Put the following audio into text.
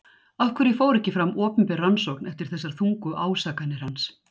Af hverju fór ekki fram opinber rannsókn eftir þessar þungu ásakanir hans?